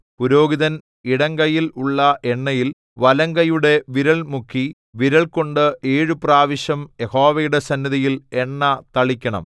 പുരോഹിതൻ ഇടംകൈയിൽ ഉള്ള എണ്ണയിൽ വലംകൈയുടെ വിരൽ മുക്കി വിരൽകൊണ്ട് ഏഴു പ്രാവശ്യം യഹോവയുടെ സന്നിധിയിൽ എണ്ണ തളിക്കണം